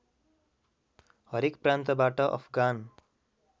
हरेक प्रान्तबाट अफगान